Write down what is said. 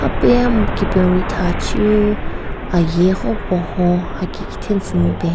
Pa hamu thachu aaye ho pohon hakikithen tsü mupen.